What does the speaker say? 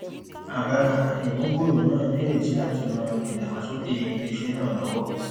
àbá ìmúgbòrò náà nírètí láti ran ìdàgbàsókè iléiṣẹ náà lọwọ